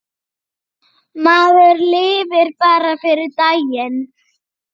Maður lifir bara fyrir daginn.